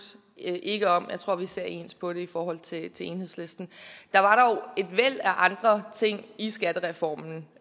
ikke om og jeg tror vi ser ens på det i forhold til enhedslisten der var dog et væld af andre ting i skattereformen